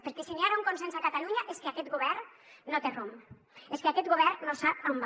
perquè si hi ha ara un consens a catalunya és que aquest govern no té rumb és que aquest govern no sap a on va